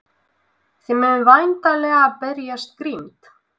Þið munið væntanlega berjast grimmt?